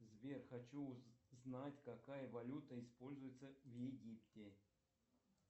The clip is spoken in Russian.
сбер хочу узнать какая валюта используется в египте